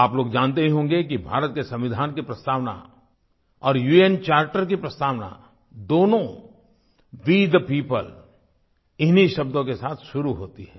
आप लोग जानते ही होंगे कि भारत के संविधान की प्रस्तावना और उन चार्टर की प्रस्तावना दोनों वे थे पियोपल इन्हीं शब्दों के साथ शुरू होती है